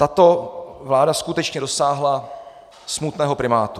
Tato vláda skutečně dosáhla smutného primátu.